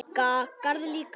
Garð líka.